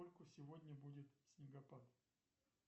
во сколько сегодня будет снегопад